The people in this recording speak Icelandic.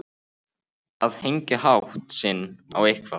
Að hengja hatt sinn á eitthvað